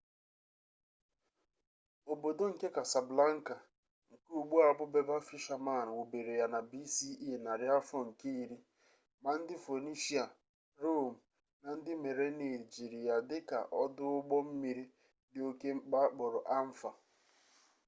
obodo nke casablanca nke ugbu a bụ berber fishermen wubere ya na bce narị afọ nke iri ma ndị phoenicia rome na ndị merenid jiri ya dị ka ọdụ ụgbọ mmiri dị oke mkpa akpọrọ anfa